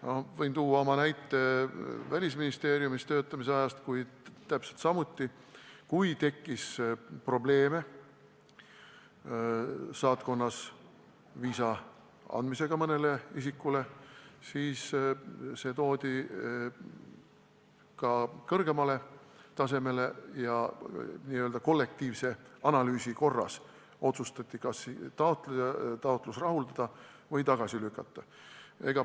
Ma võin tuua ühe näite Välisministeeriumis töötamise ajast, kui täpselt samuti, kui saatkonnas tekkis probleeme mõnele isikule viisa andmisega, siis see toodi kõrgemale tasemele ja n-ö kollektiivse analüüsi korras otsustati, kas taotlus rahuldatakse või lükatakse tagasi.